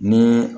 Ni